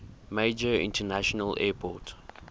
major international airport